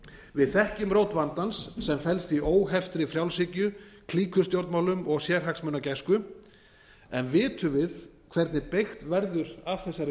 við þekkjum rót vandans sem felst í óheftri frjálshyggju klíkustjórnmálum og sérhagsmunagæslu u en vitum við hvernig beygt verður af þessari